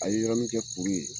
A ye yɔrɔmi kɛ kuru ye.